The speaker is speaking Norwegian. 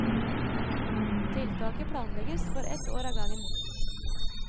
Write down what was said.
Tiltaket planlegges for ett år av gangen.